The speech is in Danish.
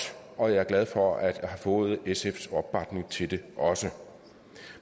og jeg er glad for at jeg har fået sfs opbakning til det også